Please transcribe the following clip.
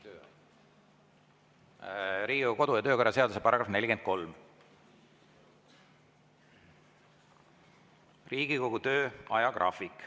See on Riigikogu kodu- ja töökorra seaduse § 47, "Riigikogu töö ajagraafik".